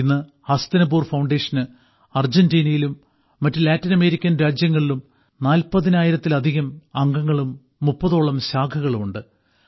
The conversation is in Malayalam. ഇന്ന് ഹസ്തിനപൂർ ഫൌണ്ടേഷന് അർജന്റീനയിലും മറ്റ് ലാറ്റിൻ അമേരിക്കൻ രാജ്യങ്ങളിലും നാൽപ്പതിനായിരത്തിലധികം അംഗങ്ങളും മുപ്പതോളം ശാഖകളും ഉണ്ട്